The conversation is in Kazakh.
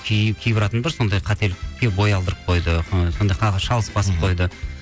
кейбір адамдар сондай қателікке бой алдырып қойды шалыс басып қойды